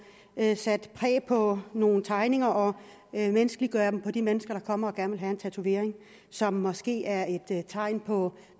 sat præg på nogle tegninger og menneskeliggøre dem på de mennesker der kommer og gerne vil have en tatovering som måske er et tegn på